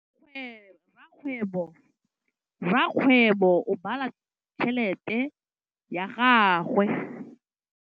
Rakgwêbô o bala tšheletê ya gagwe.